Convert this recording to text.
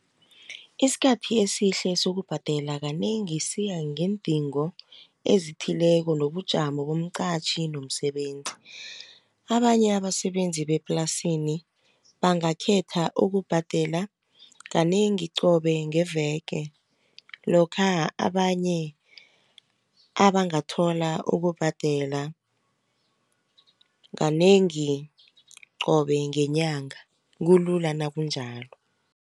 Isikhathi esihle sokubhadela, kanengi siya ngeendingo ezithileko nobujamo bomqatjhi nomsebenzi. Abanye abasebenzi bemaplasini bangakhetha ukubhadela kanengi qobe ngeveke. Lokha abanye abangathola ukubhadela kanengi qobe ngenyanga kulula nakunnjalo.